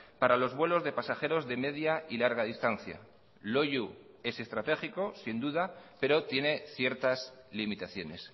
para los vuelos de pasajeros de media y larga distancia loiu es estratégico sin duda pero tiene ciertas limitaciones